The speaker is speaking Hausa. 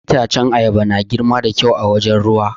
Itace na ayaba na girma da kyau a wajen ruwa.